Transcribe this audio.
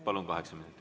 Palun, kaheksa minutit.